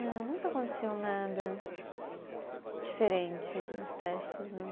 Não, nunca aconteceu nada diferente nos testes, não.